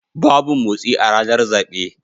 Babu motsi a ranar zabe.